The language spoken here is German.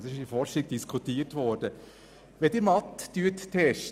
Darüber hat man auch in der Forschung diskutiert.